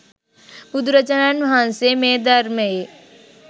බුදුරජාණන් වහන්සේ මේ ධර්මයේ